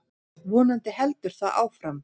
Vonandi heldur það áfram.